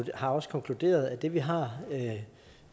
vi har også konkluderet at det vi har